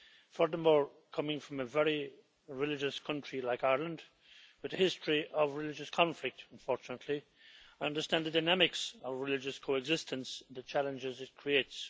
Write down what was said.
Furthermore, coming from a very religious country like Ireland, with a history of religious conflict unfortunately, I understand the dynamics of religious coexistence and the challenges it creates.